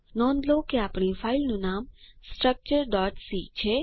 નોંધ લો કે આપણી ફાઈલનું નામ structureસી છે